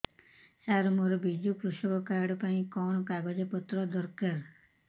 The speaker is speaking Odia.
ସାର ମୋର ବିଜୁ କୃଷକ କାର୍ଡ ପାଇଁ କଣ କାଗଜ ପତ୍ର ଦରକାର